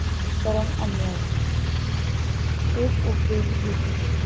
परम अन्याय एक उपदेश घेती